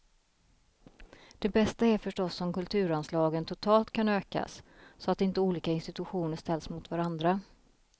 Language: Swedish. Det bästa är förstås om kulturanslagen totalt kan ökas, så att inte olika institutioner ställs mot varandra.